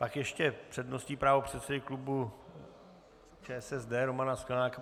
Tak ještě přednostní právo předsedy klubu ČSSD Romana Sklenáka.